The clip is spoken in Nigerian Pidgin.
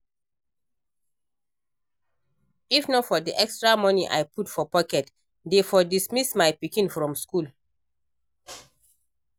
If not for the extra money I put for pocket dey for dismiss my pikin from school